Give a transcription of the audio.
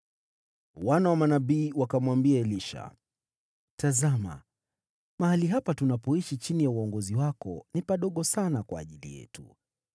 Wana wa manabii wakamwambia Elisha, “Tazama, mahali hapa tunapokutana nawe ni padogo sana kwetu.